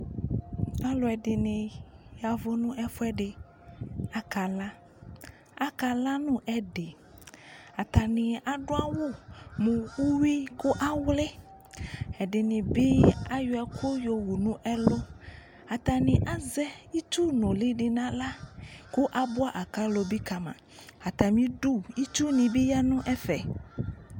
Alu ɛdini yavʊ nʊ ɛfuɛdi akala akala nu ɛdi atani adu awu nu uyui kawlɛ ɛdini bi ayɔ ɛku yowu nu ulɩ atani azɛ itsu nʊlɩ di nu aɣla ku abua akalo di bi kama atamidu itsuni bi yanu ɛfɛ